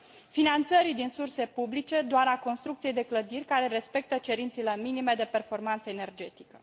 finanțarea din surse publice doar a construcției de clădiri care respectă cerințele minime de performanță energetică.